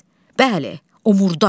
Bəli, o murdar.